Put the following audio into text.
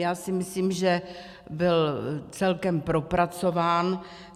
Já si myslím, že byl celkem propracován.